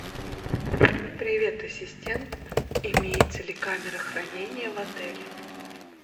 привет ассистент имеется ли камера хранения в отеле